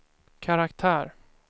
karaktär